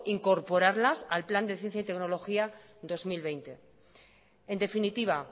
incorporarlas al plan de ciencia y tecnología dos mil veinte en definitiva